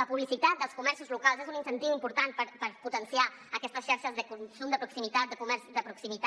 la publicitat dels comerços locals és un incentiu important per potenciar aquestes xarxes de consum de proximitat de comerç de proximitat